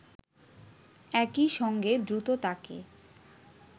একই সঙ্গে দ্রুত তাকে